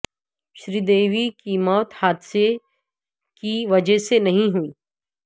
سری دیوی کی موت حادثے کی وجہ سے نہیں ہوئی